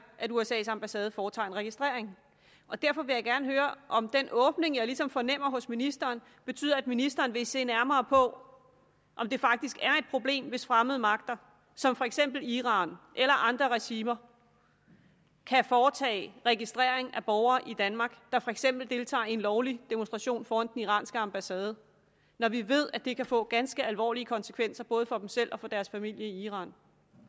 at usas ambassade foretager en registrering derfor vil jeg gerne høre om den åbning jeg ligesom fornemmer hos ministeren betyder at ministeren vil se nærmere på om det faktisk er et problem hvis fremmede magter som for eksempel iran eller andre regimer kan foretage registrering af borgere i danmark der for eksempel deltager i en lovlig demonstration foran den iranske ambassade når vi ved at det kan få ganske alvorlige konsekvenser både for dem selv og for deres familie i iran